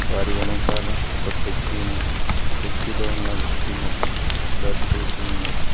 వారి వెనకాల ఒక ప్లెక్సీ ఉన్నది ప్లెక్సీ లో ఉన్న వ్యక్తి ముఖం బ్లర్ చేసి ఉన్నది.